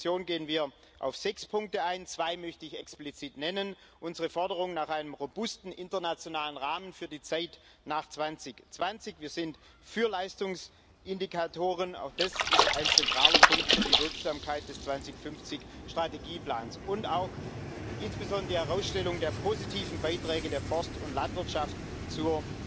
In der Entschließung gehen wir auf sechs Punkte ein, zwei möchte ich explizit nennen unsere Forderung nach einem robusten internationalen Rahmen für die Zeit nach 2020 wir sind für Leistungsindikatoren, auch das ist ein zentraler Punkt für die Wirksamkeit des 2050 Strategieplans und auch insbesondere die Herausstellung der positiven Beiträge der Forst und Landwirtschaft zur